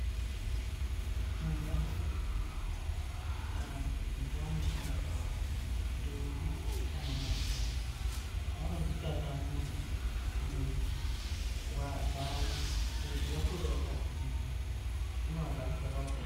Muntaraunda mwetinogara kana mundao dzatinogara dhombi kana majaha vanozvitatamura mwiri nguva dzavo kuti vakure vakagwinya zvinoabatsira pautano .